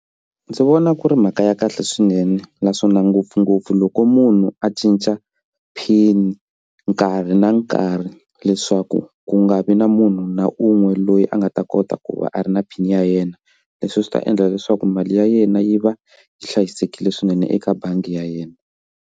Ndzi vona ku ri mhaka ya kahle swinene naswona ngopfungopfu loko munhu a cinca pin nkarhi na nkarhi leswaku ku nga vi na munhu na un'we loyi a nga ta kota ku va a ri na pin ya yena leswi swi ta endla leswaku mali ya yena yi va yi hlayisekile swinene eka bangi ya yena.